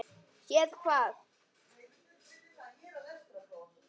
Séð hvað?